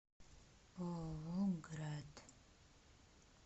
ооо град